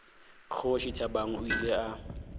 kgoši thabang o ile a